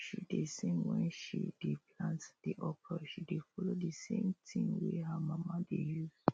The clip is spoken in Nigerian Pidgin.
she dey sing wen she dey plant the okra she dey follow the same tin wey her mama dey use